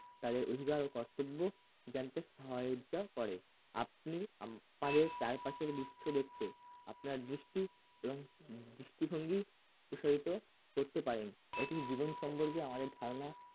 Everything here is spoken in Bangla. তাদের অধিকার ও কর্তব্য জানতে সহযোগিতা করে আপনি আমাদের চারপাশের দৃশ্য দেখতে আপনার দৃষ্টি এবং দৃষ্টিভঙ্গি প্রসারিত করতে পারেন এটি জীবন সম্পর্কে আমাদের ধারণা